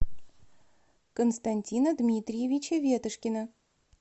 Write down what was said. константина дмитриевича ветошкина